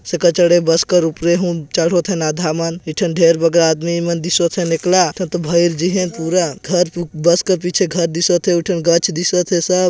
के चड़े बस कर ऊपरे हुन चढ़ोथन आधा मनएक ठन ठेर बगैर आदमी मन दिशत हे निकला ते भायर जी हे का पूरा घर बस के पीछे दिशत घर दिशत हे एक ठन गच दिशत हे सब--